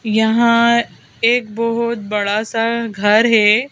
यहां एक बहुत बड़ा सा घर है।